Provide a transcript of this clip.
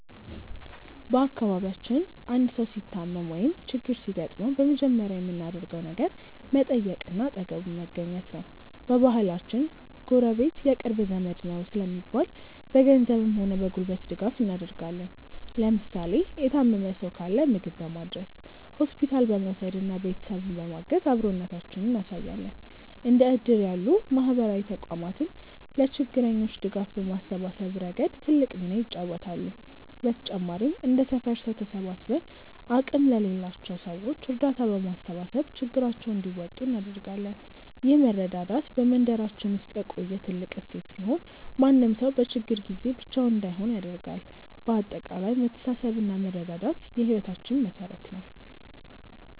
በአካባቢያችን አንድ ሰው ሲታመም ወይም ችግር ሲገጥመው በመጀመሪያ የምናደርገው ነገር መጠየቅና አጠገቡ መገኘት ነው። በባህላችን "ጎረቤት የቅርብ ዘመድ ነው" ስለሚባል፣ በገንዘብም ሆነ በጉልበት ድጋፍ እናደርጋለን። ለምሳሌ የታመመ ሰው ካለ ምግብ በማድረስ፣ ሆስፒታል በመውሰድና ቤተሰቡን በማገዝ አብሮነታችንን እናሳያለን። እንደ እድር ያሉ ማህበራዊ ተቋማትም ለችግረኞች ድጋፍ በማሰባሰብ ረገድ ትልቅ ሚና ይጫወታሉ። በተጨማሪም እንደ ሰፈር ሰው ተሰባስበን አቅም ለሌላቸው ሰዎች እርዳታ በማሰባሰብ ችግራቸውን እንዲወጡ እናደርጋለን። ይህ መረዳዳት በመንደራችን ውስጥ የቆየ ትልቅ እሴት ሲሆን፣ ማንም ሰው በችግር ጊዜ ብቻውን እንዳይሆን ያደርጋል። በአጠቃላይ መተሳሰብና መረዳዳት የህይወታችን መሠረት ነው።